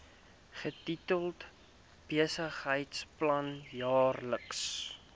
getitel besigheidsplan jaarlikse